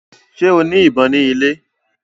Ṣe o ní ìbọn ni ilè?